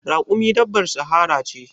Raƙumi dabbar sahara ce.